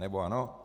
Nebo ano?